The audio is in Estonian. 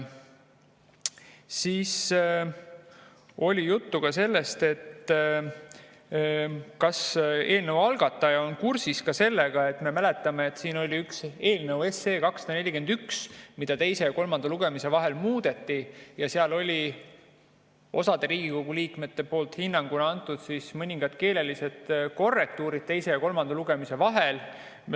Siis oli juttu sellest, kas eelnõu algataja on kursis sellega, et nagu me mäletame, siin oli eelnõu 241, mida teise ja kolmanda lugemise vahel muudeti, ja seal oli osa Riigikogu liikmete poolt hinnanguna antud mõningad keelelised korrektuurid teise ja kolmanda lugemise vahel.